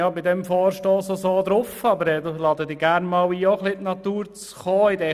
Deshalb bin ich an diesem Vorstoss derart interessiert, und ich lade Sie gerne einmal ein, in die Natur zu kommen.